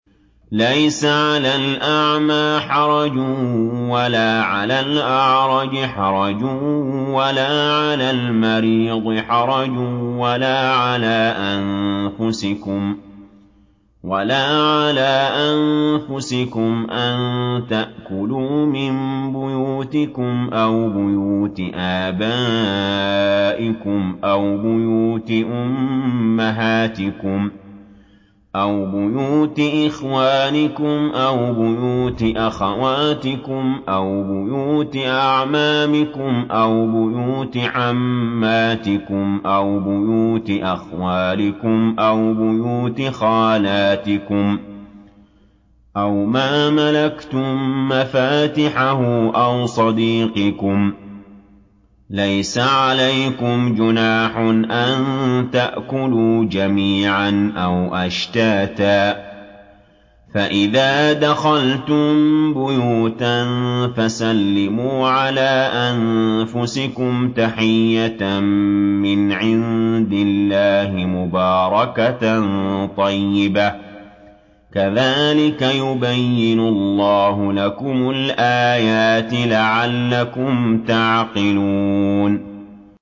لَّيْسَ عَلَى الْأَعْمَىٰ حَرَجٌ وَلَا عَلَى الْأَعْرَجِ حَرَجٌ وَلَا عَلَى الْمَرِيضِ حَرَجٌ وَلَا عَلَىٰ أَنفُسِكُمْ أَن تَأْكُلُوا مِن بُيُوتِكُمْ أَوْ بُيُوتِ آبَائِكُمْ أَوْ بُيُوتِ أُمَّهَاتِكُمْ أَوْ بُيُوتِ إِخْوَانِكُمْ أَوْ بُيُوتِ أَخَوَاتِكُمْ أَوْ بُيُوتِ أَعْمَامِكُمْ أَوْ بُيُوتِ عَمَّاتِكُمْ أَوْ بُيُوتِ أَخْوَالِكُمْ أَوْ بُيُوتِ خَالَاتِكُمْ أَوْ مَا مَلَكْتُم مَّفَاتِحَهُ أَوْ صَدِيقِكُمْ ۚ لَيْسَ عَلَيْكُمْ جُنَاحٌ أَن تَأْكُلُوا جَمِيعًا أَوْ أَشْتَاتًا ۚ فَإِذَا دَخَلْتُم بُيُوتًا فَسَلِّمُوا عَلَىٰ أَنفُسِكُمْ تَحِيَّةً مِّنْ عِندِ اللَّهِ مُبَارَكَةً طَيِّبَةً ۚ كَذَٰلِكَ يُبَيِّنُ اللَّهُ لَكُمُ الْآيَاتِ لَعَلَّكُمْ تَعْقِلُونَ